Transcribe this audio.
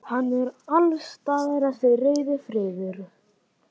Hann er alls staðar þessi rauði friður.